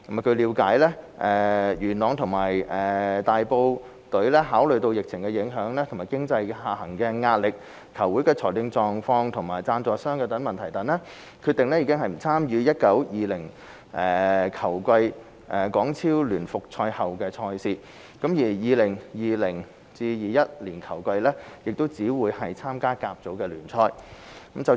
據了解，佳聯元朗及和富大埔考慮到疫情影響、經濟下行壓力、球會的財政狀況及贊助商問題等，決定不參與 2019-2020 球季港超聯復賽後的賽事，而 2020-2021 球季亦只會參加甲組聯賽。